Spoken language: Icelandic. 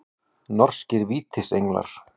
Norskir Vítisenglar.